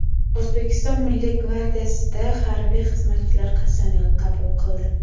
O‘zbekiston Milliy gvardiyasida harbiy xizmatchilar qasamyod qabul qildi.